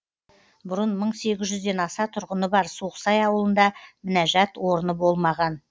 бұрын мың сегіз жүзден аса тұрғыны бар суықсай ауылында мінәжат орны болмаған